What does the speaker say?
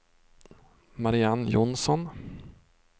Mariann Jonsson